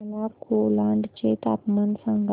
मला कोलाड चे तापमान सांगा